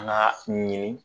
An k'a ɲini